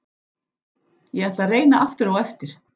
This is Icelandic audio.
Ég ætla að reyna aftur á eftir.